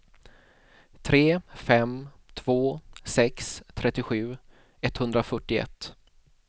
tre fem två sex trettiosju etthundrafyrtioett